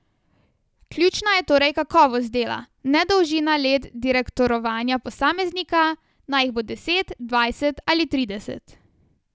Ključna je torej kakovost dela, ne dolžina let direktorovanja posameznika, naj jih bo deset, dvajset ali trideset.